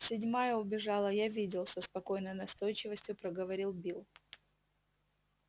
седьмая убежала я видел со спокойной настойчивостью проговорил билл